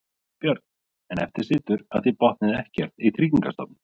Björn: En eftir situr að þið botnið ekkert í Tryggingastofnun?